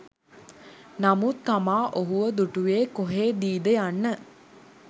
නමුත් තමා ඔහුව දුටුවේ කොහේදීද යන්න